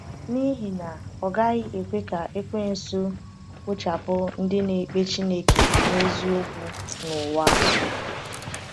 N’ihi na, ọ gaghị ekwe ka Ekwensu kpochapụ ndị na-ekpe Chineke n’eziokwu n’ụwa!